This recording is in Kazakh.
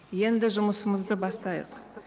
енді жұмысымызды бастайық